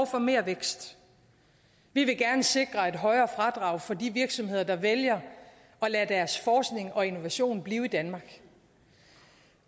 for mere vækst vi vil gerne sikre et højere fradrag for de virksomheder der vælger at lade deres forskning og innovation blive i danmark